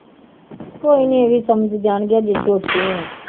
ਕੋਈ ਨੀ ਇਹ ਵੀ ਸਮਝ ਜਾਣਗੇ ਹਜੇ ਛੋਟੇ ਹੈ